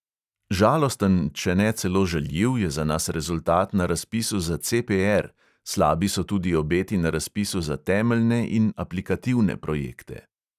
Žalosten, če ne celo žaljiv, je za nas rezultat na razpisu za CPR, slabi so tudi obeti na razpisu za temeljne in aplikativne projekte.